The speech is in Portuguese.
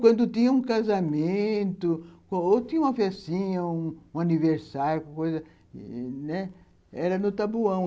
Quando tinha um casamento, ou tinha uma festinha, um aniversário, uma coisa, era no tabuão.